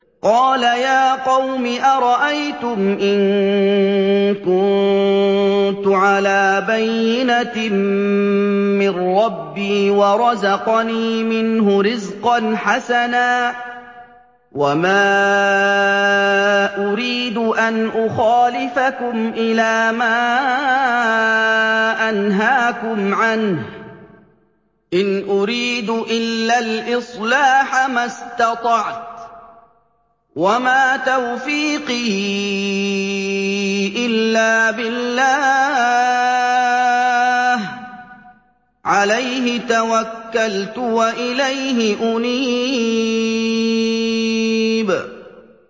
قَالَ يَا قَوْمِ أَرَأَيْتُمْ إِن كُنتُ عَلَىٰ بَيِّنَةٍ مِّن رَّبِّي وَرَزَقَنِي مِنْهُ رِزْقًا حَسَنًا ۚ وَمَا أُرِيدُ أَنْ أُخَالِفَكُمْ إِلَىٰ مَا أَنْهَاكُمْ عَنْهُ ۚ إِنْ أُرِيدُ إِلَّا الْإِصْلَاحَ مَا اسْتَطَعْتُ ۚ وَمَا تَوْفِيقِي إِلَّا بِاللَّهِ ۚ عَلَيْهِ تَوَكَّلْتُ وَإِلَيْهِ أُنِيبُ